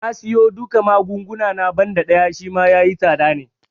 Na siyo duka magunguna na, banda ɗaya Shima yayi tsada ne